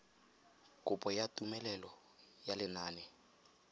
kopo ya tumelelo ya lenane